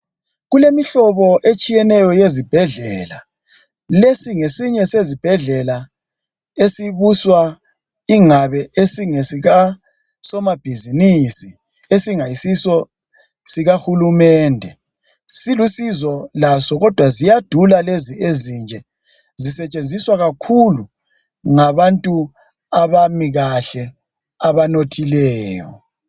Kulemihlobo etshiyeneyo yezibhedlela .Lesi ngesinye sezibhedlela esibuswa ingabe esingesika somabhizinisi. Esingayisiso sikahulumende .Silusizo laso kodwa ziyadula lezi ezinje .Zisetshenziswa kakhulu ngabantu abami kahle abanothileyo.